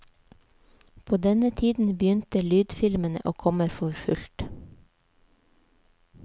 På denne tiden begynte lydfilmene å komme for fullt.